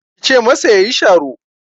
Ki ce masa ya yi sharo!